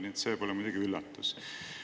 Nii et see pole muidugi üllatus.